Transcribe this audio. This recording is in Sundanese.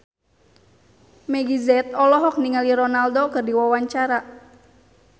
Meggie Z olohok ningali Ronaldo keur diwawancara